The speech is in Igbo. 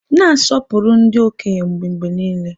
Na-asọpụrụ ndị okenye gị mgbe niile!